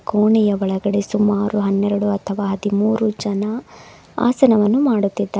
ಕೋಣೆಯ ಒಳಗಡೆ ಸುಮಾರು ಹನ್ನೆರೆಡು ಅಥವಾ ಹದಿಮೂರು ಜನ ಆಸನ ಮಾಡುತ್ತಿದ್ದಾ--